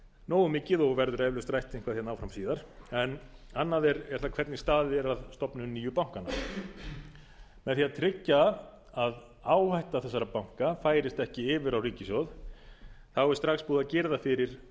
nógu mikið og verður eflaust rætt eitthvað áfram síðar en annað er það hvernig staðið er að stofnun nýju bankanna með því að tryggja að áhætta þessara banka færist ekki yfir á ríkissjóð er strax búið að girða fyrir